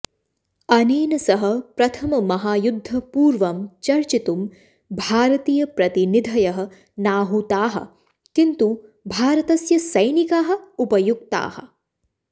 अनेन सह प्रथममहायुद्धपूर्वं चर्चितुं भारतीयप्रतिनिधयः नाहूताः किन्तु भारतस्य सैनिकाः उपयुक्ताः